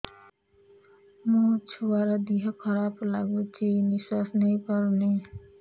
ମୋ ଛୁଆର ଦିହ ଖରାପ ଲାଗୁଚି ନିଃଶ୍ବାସ ନେଇ ପାରୁନି